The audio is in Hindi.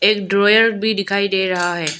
एक ड्रॉवर भी दिखाई दे रहा है।